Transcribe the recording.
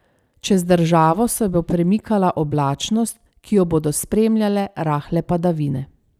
Čez državo se bo premikala oblačnost, ki jo bodo spremljale rahle padavine.